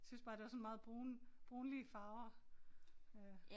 Synes bare det var sådan meget brun brunlige farver øh